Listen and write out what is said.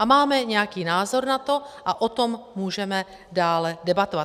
A máme nějaký názor na to a o tom můžeme dále debatovat.